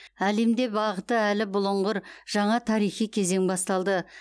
әлемде бағыты әлі бұлыңғыр жаңа тарихи кезең басталды